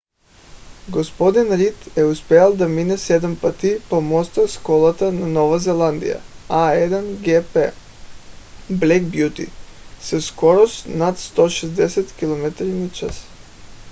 г-н рийд е успял да мине седем пъти по моста с колата на нова зеландия a1gp black beauty със скорост над 160 км/ч